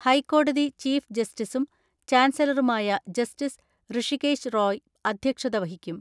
ഹൈക്കോടതി ചീഫ് ജസ്റ്റിസും ചാൻസലറുമായ ജസ്റ്റിസ് ഋഷികേശ് റോയ് അധ്യക്ഷത വഹിക്കും.